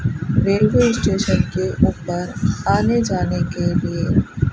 railway station के ऊपर आने जाने के लिए--